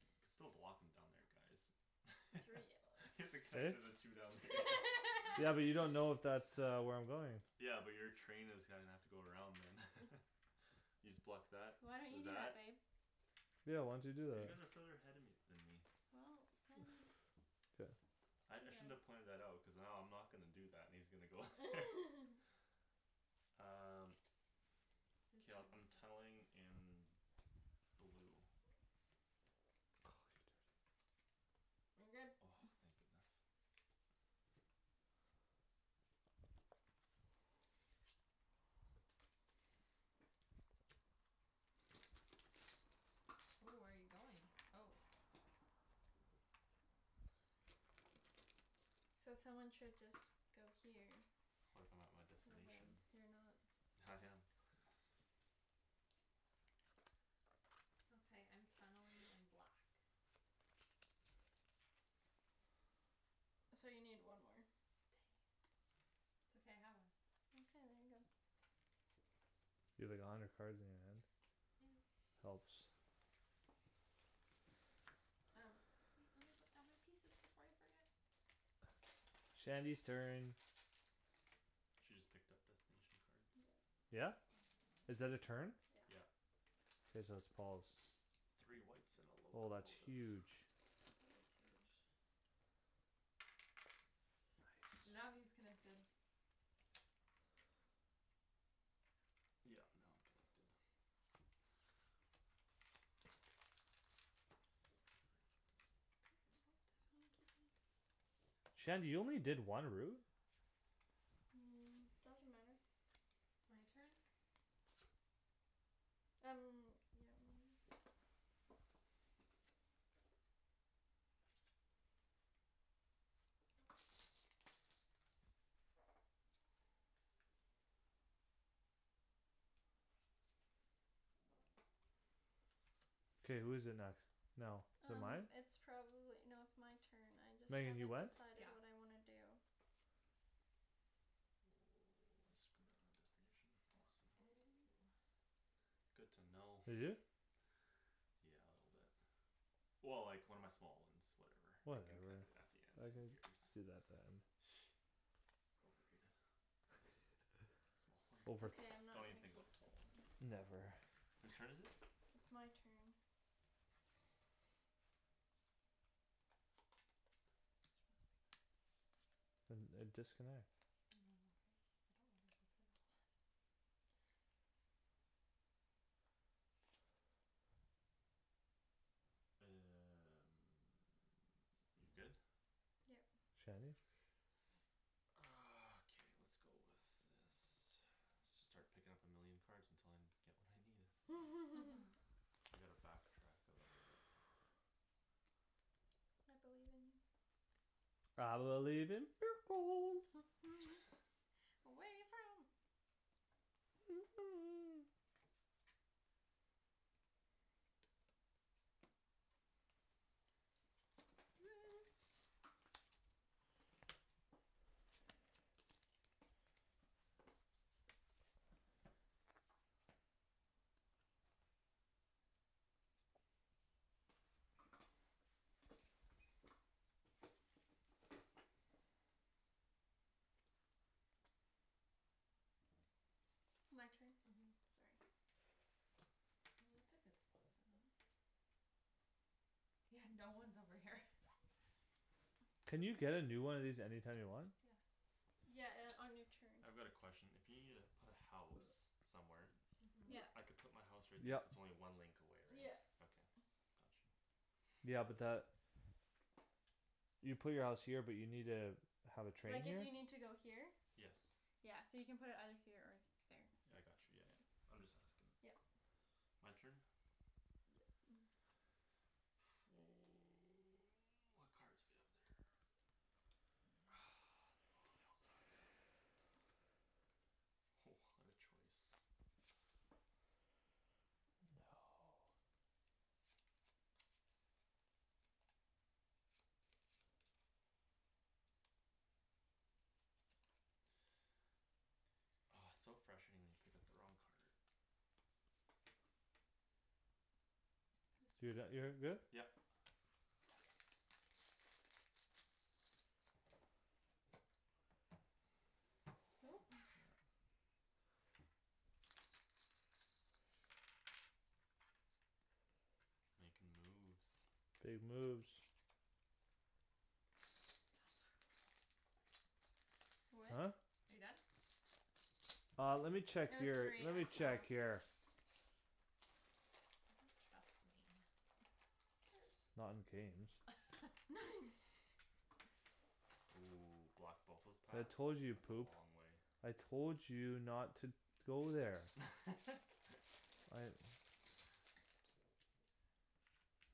You could still block him down there guys. Three Is it yellows Eh? connected the two down there? Yeah, but you don't know if that uh where I'm going Yeah, but your train is gonna have to go around them. You just block that Why don't you with do that. that babe? Yeah why don't you do Cuz you that? guys are further ahead of me than me Well, then Good. I I shouldn't have It's too long. pointed that out. Cuz now I'm not gonna do that, and he's gonna go Um. Whose K, I'll turn I'm is it? tunneling in. Blue. I'm good. Oh, thank goodness. Ooh, where you going? Oh. So someone should just go here. What if I'm at my So then destination? you're not I No, I am am. not. Okay, I'm tunneling in black. So you need one more. it's okay. I have one. You have like a hundred cards in your hand. I know. Helps. Um, wait. Let me put down my pieces before I forget. Shandy's turn. She just picked up destination cards. Yep. Yeah? Is that a turn? Yeah. Yeah. Okay, so it's Paul's. Three whites and a Oh, that's locomotive. huge. That is huge. Nice. Now he is connected. Yeah now I'm connected. Shandy you only did one route? Um, doesn't matter. My turn? Um, yeah, maybe. K, who's it next now? Is it Um, mine? it's probably, no, it's my turn. I just Megan haven't you went? decided what Yeah. I wanna do. Oh, I screwed up my destination, awesome. Oh. Good to know. You do? Yeah, a little bit. Well, like, one of my small ones. Whatever, I can Whatever. connected it back again. I Who can cares? do that at the end. Overrated. Small one. Over. Okay, I'm not Don't even gonna think keep about small this ones. one. Never. Who's turn is it? It's my turn. And a disconnect. No, I'm okay. I don't wanna go through that one. You good? Yep. Shandy. Ah, okay, lets go with this. Should start picking up a million cards until I'm get what I needed. I need to back track a little bit. I believe in you. I believe in miracles. Away from My turn. Mhm, sorry. Well, that's a good spot for them. Yeah, no one's over here. Can you get a new one of these anytime you want? Yeah. Yeah, uh, on your turn. I've got a question. If you needa put a house somewhere Mhm. Yeah. I can put my house right there Yep. if its only one link away, right? Yeah. Okay, got you. Yeah, but that You put your house here but you need a Have a train Like if here? you need to go here Yes. Yeah, so you can put it either here or here. Yeah I got you, yeah, yeah. I'm just asking. Yep. My turn? Yep. What cards we have there? Ah, they bo- they all suck. Ho, what a choice! No. Oh, it's so frustrating when you pick up the wrong card. Whose Do turn that. You're is good? it? Yep. Who Snap. Makin' moves. Big moves. Huh? What? Are you done? Uh, let me check It was your, three, let I me check saw. your He You doesn't trust can me. pass to me Not in Hurts. games. Ooh, block both those I paths. told you you'd That's a poop. long way. I told you not to to go there I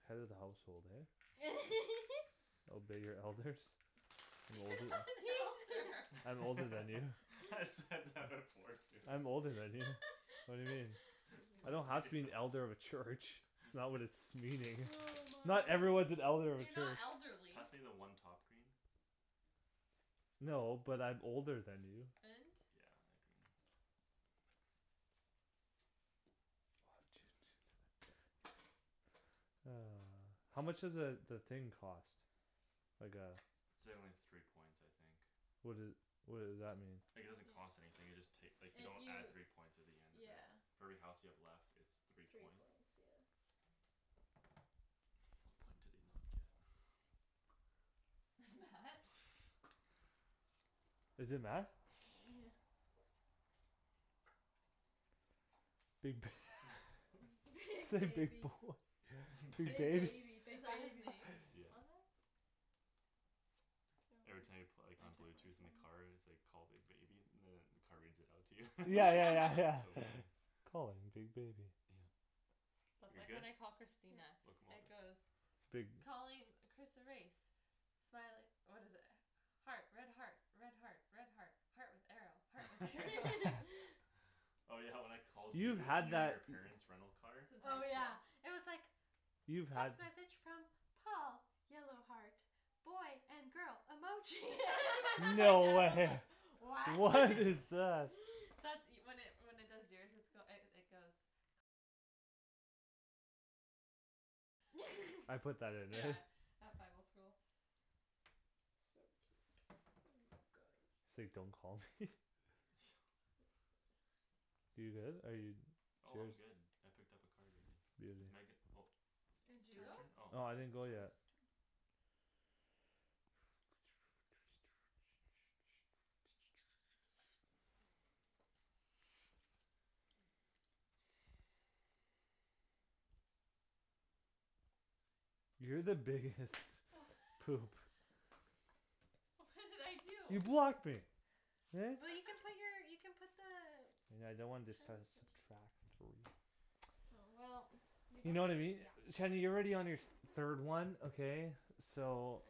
Head of the household, eh Obey your elders. I'm You're older. not an elder. I'm older than you. I said that before too. I'm older than you. What do you mean? I don't have to be an elder of a church. It's not what it's meaning. Oh my Not everyone's gosh. an elder of a You're not church. elderly. Pass me the one top green. No, but I'm older than you. And? Yeah, a green. Thanks. One, two, two, seven. Ah. How much does a the thing cost? Like a It's a only three points I think. What doe- what does that mean? Like it doesn't cost anything, you just take. Like you It don't you add three points at the end of it. yeah For every house you have left it's three Three points. points, yeah. What point did he not get? Is it met? Yeah. Big Big Big big baby, boy. Big big Big bab- baby, big Is that his baby. name? Yeah. On that? Every time you pla- like on blue tooth in the car, it's like call big baby, and then the car reads it out to you. Yeah, yeah, yeah, It's so yeah funny. Calling big baby Yeah. That's You're like good? when I call Christina, it Locomotive goes Big Calling Chris erase Smile it, what is it? Heart, red heart, red heart, red heart Heart with arrow, heart with arrow Oh, yeah, when I called You've you and had you and that your parents rental car Since Oh, high school yeah, it was like You've had Text message from Paul yellow heart boy and girl emoji my dad No. was like What? What is that? That's e- when it when it does yours it's goe- it goes I put that in there Yeah, at Bible school. So cute, um, guy. Say don't call me You good, are you? It's Oh, yours. I'm good. I picked up a card already. It's Megan. Oh. Did It's you your go? turn? Oh. No, It's I Thomas' didn't go turn. yet. You're the biggest Wha- poop. What did I You do? blocked me. Eh? Well, you can put your you put the And I don't want Train this sub- station subtract three Oh, well, you You know know what I mean? Yeah. Shady you're already on your th- third one, okay. I know. So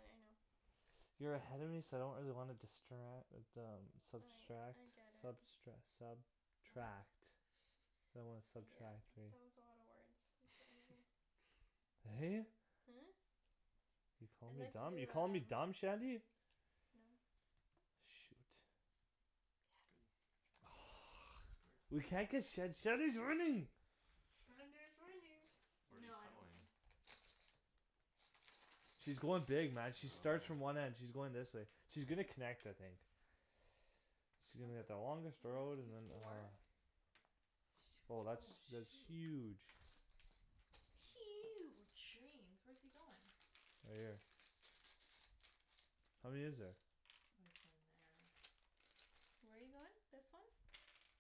You're ahead of me so I don't really wanna distra- uh but um I subtract I get it. substre- sub tract I don't Yeah, wanna that was subtract, right. a lotta words. In front of you Hey. Hmm? You're calling I'd me like dumb, you're to calling me do, dumb, um Shandy? No. Shoot. Good. Yes. This card. We can't get Shand- Shandy's winning Shandy is winning. Where No, you I don't win. tunneling? She's going dig, man, she starts from Oh. one end, she's going this way. She's gonna connect, I think. She's How gonna get the longest many road You and have then. ah four? Oh, Shoot, that's that's oh, huge. shoot. Huge. Greens. Where's he goin'? Right here. How many is there? Oh, he's going there. Where you goin'? This one?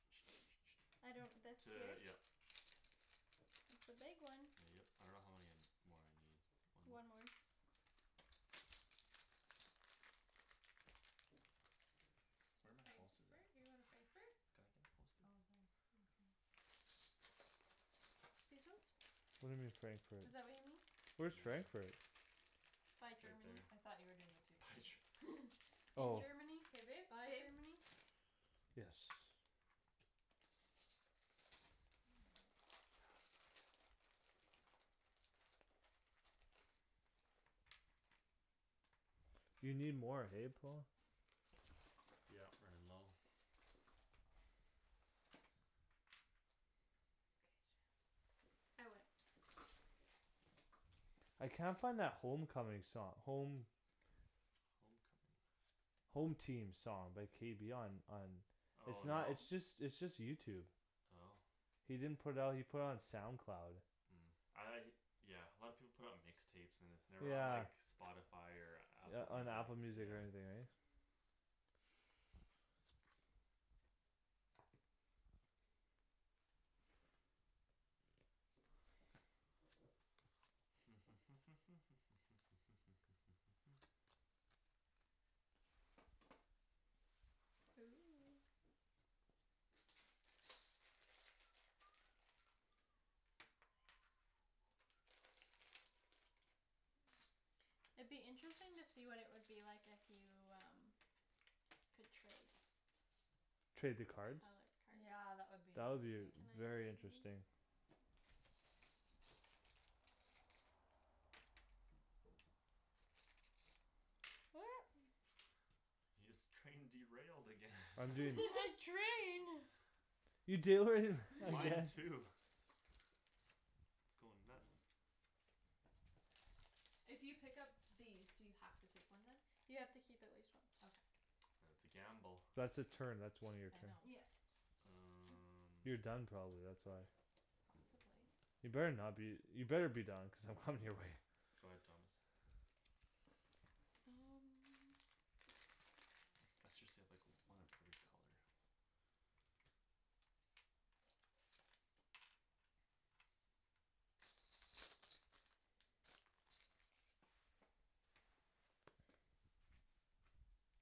I don't this here? T- yeah. It's the big one. Yep. I don't know how many more I need. One more? One more. Where my houses Frankfurt? at? You going to Oh, Frankfurt. can I get a house baby? Oh, there. Okay. These ones? What do you mean, Frankfurt? Is that what you mean? Where's Frankfurt? By Right Germany. there. I thought you were doing the two By pink. Ger- In Oh. Germany, K, babe, by babe. Germany. Yes. You need more, hey, Paul. Yeah, running low. K, Shands. I win. I can't find that home coming song, home Home coming. Home team song by K B on on It's Oh, not no? it's just it's just YouTube Oh. He didn't put out he put it on SoundCloud. Mm, I Yeah, a lot of people put it on mix tapes and then it's never on Yeah. like Spotify or Yeah, Apple on Music, Apple yeah. Music or anything, right? Ooh. It'd be interesting to see what it would be like if you, um Could trade Trade the Color cards? Yeah, that cards. would be That would be v- interesting. Can I very give you interesting. these? Your scrain derailed again. I'm You doing. had train. You derai- Mine again. too. It's goin' nuts. If you pick up these do you have to take one then? You have to keep at least one. Okay. That's a gamble. That's a turn, that's one of your I turn. know. Yep. You're Um. done probably, that's why. Possibly. You better not be you better be done cuz I'm coming your way. Go ahead, Thomas. And Let's just save like one of every color.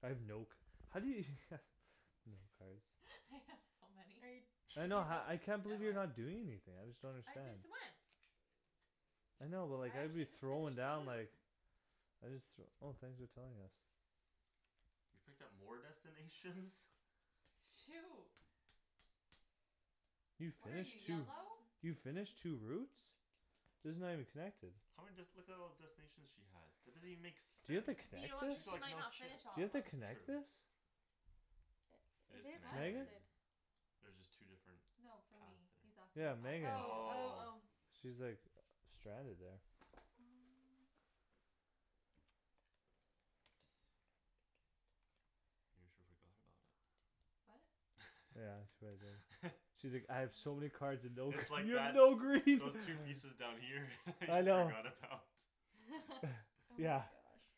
I have no c- how do you No cards. I have so Are you many. I Did you know ha- go? I can't believe you're not doing anything. I just don't I understand. just went. I know but like I I'd be actually just throwing finished two down like routes. I just th- Oh thanks for telling us. You picked up more destinations? Shoot. You What are you, finished two? yellow? You finished two routes? These are not even connected. How many dest- Look at all the destinations she has. That doesn't even make Do you have sense. to You connect know what, it? She's got she like might no not chips. finished Do all you of have them. to True. connect this? It It is is What? connected. Megan? connected. There's just two different No, for Paths me. He's there. asking Yeah, Megan. Oh, oh, Oh. oh. She's like uh stranded there. Mm. That's not gonna be good. You sure forgot about it. What? Yeah, that's what I did. She's like, "I have so many cards and no." It's like You have that no those green. those pieces down here you I know. forgot about. Oh Yeah. my gosh.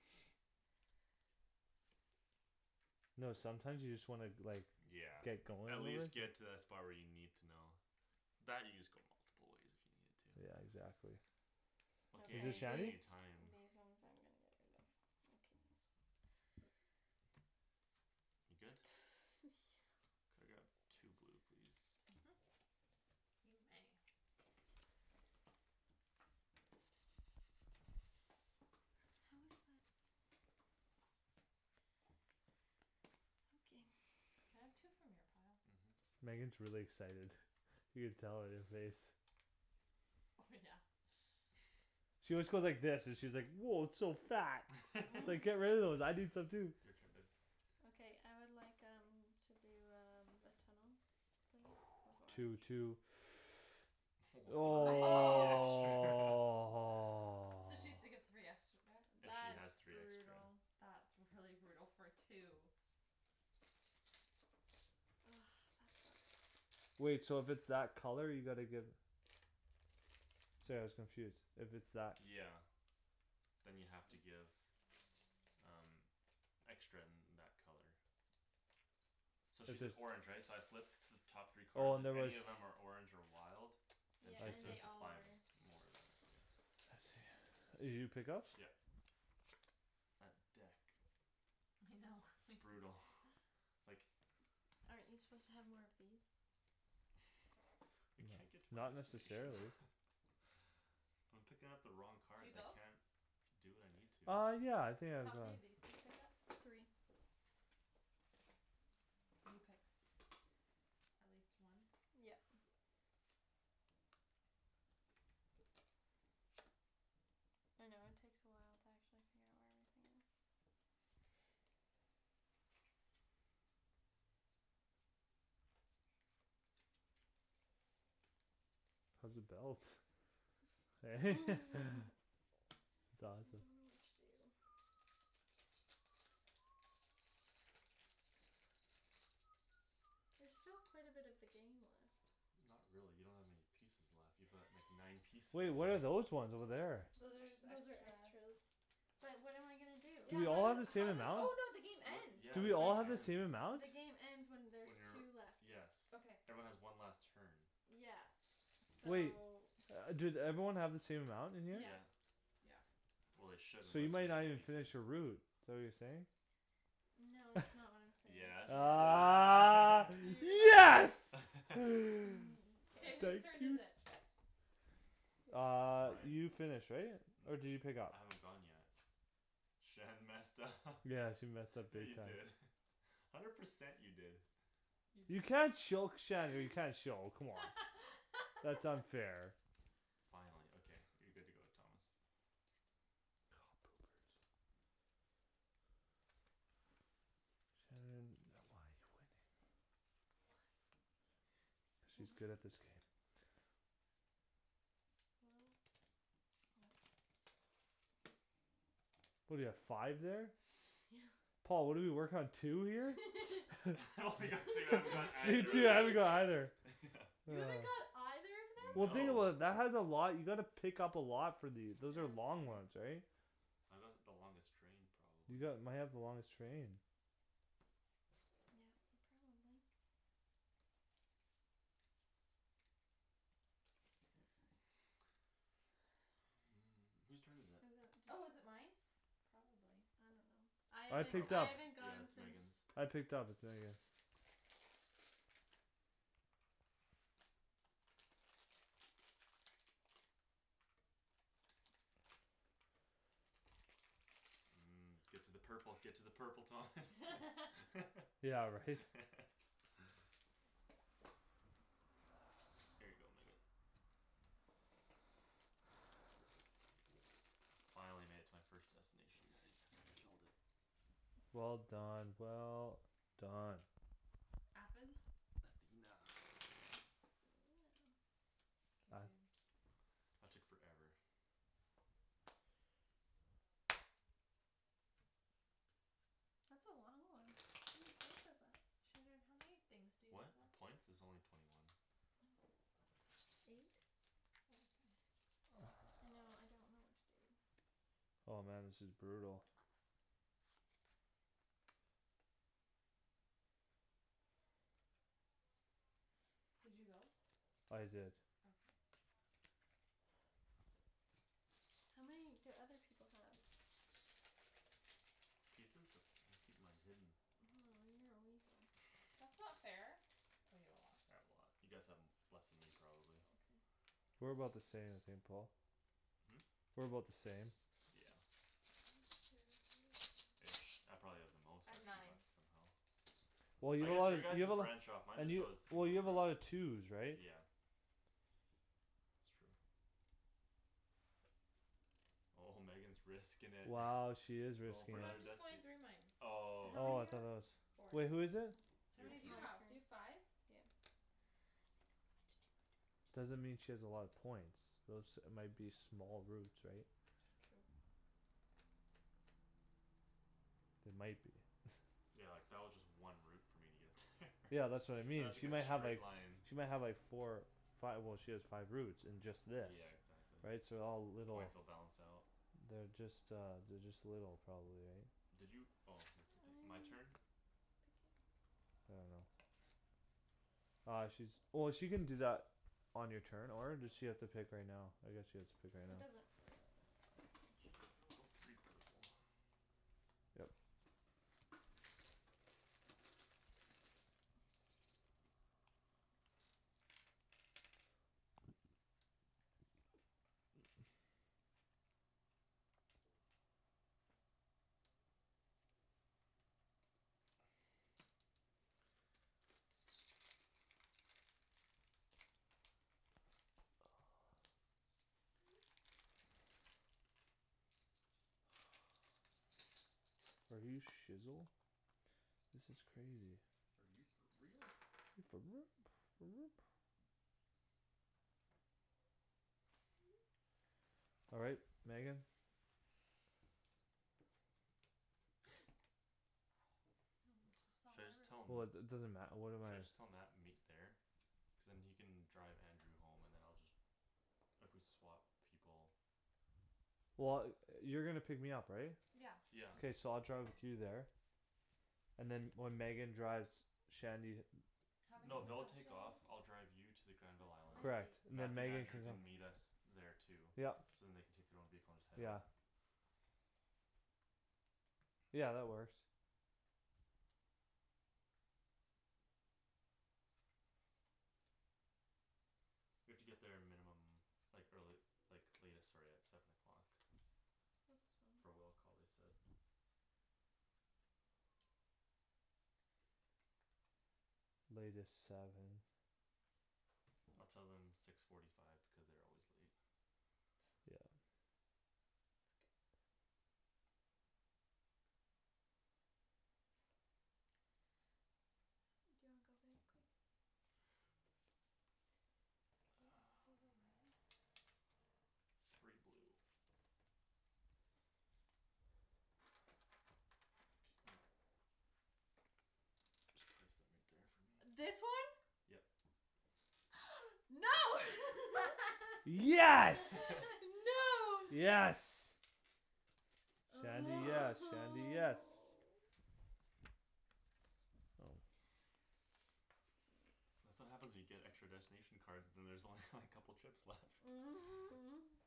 No, sometimes you just wanna like Yeah, Get going at a little. least get to that spot where you need to know. That you just go multiple ways if you needed to. Yeah, exactly. Okay, Okay, Is it these any any Shany's? these one's time. I'm gonna get rid of. I'll keep these. You good? Yeah. Could I grab two blue please. Mhm. You may. What was that? Okay. Can I have two from your pile? Mhm. Megan's really excited. You can tell on your face. Oh, yeah. She always goes like this, she's like, "Woah, it's so fat." It's like, "Get rid of those. I need some too." Your turn babe. Okay, I would like, um To do um a tunnel please Two, with orange. two. Woah, three extra. So she has to give three extra back. If she That's has three extra. brutal. That's really brutal for two. Ah, that sucks. Wait, so if it's that color you gotta give Sorry I was confused, if it's that Yeah. Then you have to give Um Extra in that color. So If she's an there's orange right? So I flip The top three Oh, card, and there if was any of them are orange or wild Then Yeah, she I has and see. to they all are. supply them more of that, yeah. I see. Did you pick up? Yeah. That deck. I know. It's brutal, like Aren't you suppose to have more of these? I No, can't get to my not destination. necessarily. I'm picking up the wrong Did you cards. I go? can't do what I need to. Uh, yeah, I think I've How many gone. of these do you pick up? Three. And you pick at least one? Yep. I know it takes a while to actually figure out where everything is. How's the belt? Eh? It's I awesome. don't know what to do. There's still quite a bit of the game left. Not really. You don't have many pieces left. You've got like nine pieces. Wait, what are those ones over there? Those are just Those are extras. extras. But what am I gonna do? Do Yeah, we how all have do- the same how does amount? Oh, no, the game What? ends Yeah, Do the we all game have the ends. same amount? The game ends when When there's two you're, left. yes Okay. Everyone has one last turn. Yeah, so Wait. Do everyone have the same amount in here? Yeah. Yeah. Yeah Well, they should So you unless we're might not missing even finish pieces. your route. Is that what you're saying? No, that's not what I'm saying. Yes, Ah ah. yes Mm, K, whose Thank k turn is you. it? Uh, Mine? you finished, right? Or did you pick up? I haven't gone yet. Shan messed up Yeah, she messed up Yeah, big you time. did hundred percent you did. You can't choke Shandy, you can't show come on, that's unfair. Finally, okay, you're good to go, Thomas. Oh, poopers. Shandryn, why you're winning? She's good at this game. What? Well What do you have five there? Yeah. Paul, what do you work on two here? I only got two. I haven't got You either of too I that. don't know either Yeah. You haven't got either of them? Well, think No. about it, that has a lot. You gotta pick up a lot for these. Those Yeah, are that's long very ones, right? I got the longest train You probably. got might have the longest train. Yeah, you probably Who's turn is it? Is it? Oh, is it mine? Probably. I don't know. I I haven't picked Probably. I up. haven't Yeah, gone it's since. Megan's. I picked up but then again Mm. Get to the purple, get to the purple, Thomas. Yeah, right? Here you go, Megan. Finally made it to my first destination guys. Killed it. Well done, well done. Athens. Athena. K I babe. That took forever. That's a long one. How many points is that? Shandryn, how many things to you What? have up? A points? Is only twenty one. Oh, eight? Oh, okay. I know, I don't know what to do. Oh, man, this is brutal. Did you go? I did. Okay. How many do other people have? Pieces? It's I keep mine hidden. Oh, you're a weasel. That's not fair, oh, you have a lot. I have a lot. You guys have less then me probably. Okay. We're about the same, I think, Paul. Hmm? We're about the same. Yeah. Ish I probably have the most I've actually nine. left somehow. Well, you I guess have your guy's you have a lot branch off. Mine and just you goes Well, single you have a route. lot of twos right? Yeah. It's true. Oh, Megan's risking it. Wow, she is Goin' risking for No, it. another I'm just going destin- through mine. How Oh, okay. many Oh, you I thought that was have? Four. Wait, who Oh, is it? How Your many do it's turn. my you have? Do you have turn. five? Yeah. Doesn't mean she has a lot of points. Those might be small routes right? True. They might be Yeah, like that was just one route for me to get there Yeah, that's what I And mean, that's she like might a have like straight line. She might have like four five, well, she has five routes and just this Yeah, exactly. Right, so all little Points will balance out. They're just, uh They're just little probably, right? Did you? Oh, you're picking. I'm My picking. turn? I don't know. Uh, she's Oh, she can do that On your turn or does she have to pick right now? I guess she has to pick right now. It doesn't really matter all that I'll much. go three purple. Yep. Oh, my god. Are you shizzel? This is crazy. Are you for real? Are you for All right, Megan. Should I just tell 'em? Woah, it it doesn't matter. What am Should I I? just tell Mat to meet there? Cuz then he can drive Andrew home and then I'll just If we swap people. Well, yo- you're gonna pick me up, right? Yeah. Yeah. K, so I'll drive with you there and then when Megan drives Shandy How many No, do you they'll have take off. Shandryn? I'll drive you to the Granville How island. I many? have Correct. eight. Then Mathew and Megan Andrew can come. can meet us Okay. there too. Yup. So then they can take their own vehicle and just head home. Yeah. Yeah, that works. We have to get there a minimum Like early like latest sorry at Seven o'clock. That's For fine. will call, they said. Latest seven. I'll tell them six forty five because they're always late. Yeah. That's a good one. Do you wanna go babe quick? Um. Three blue. Can you Just place them right there for me This one? Yep. No. Yes. No. Yes. Shandy, yes, Shandy, yes. Oh. That's what happens when you get extra destination cards. Then there's only like couple trips left.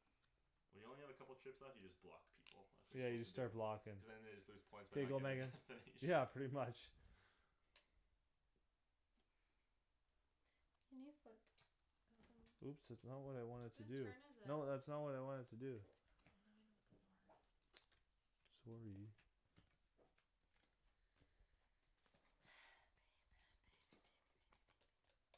When you only have a couple trips left you just block people. That's what Yeah, you're you just suppose to do. start blockin'. Cuz then they just lose points by Here you not go, getting Megan. destinations. Yeah, pretty much. Can you flip Oh. some? Oops, that's not what I wanted to Whose do. turn is it? No, that's not what I wanted to do. Oh, now I know what those are Sorry.